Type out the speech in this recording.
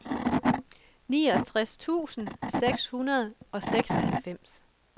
niogtres tusind seks hundrede og seksoghalvfems